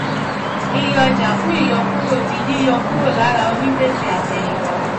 iye ọjàfún ìyọkúrò di yíyọ kúrò lára onígbèsè àtẹ̀yìnwá.